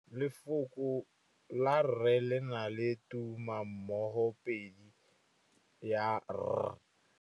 Lefoko la rre le na le tumammogôpedi ya, r.